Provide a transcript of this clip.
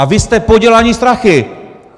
A vy jste podělaní strachy!